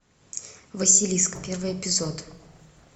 василиск первый эпизод